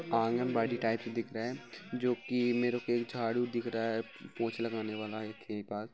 anganwadi type से दिख रहा है जो की मेरे को एक झाड़ू दिख रहा है पोछा लगाने वाला के बाद--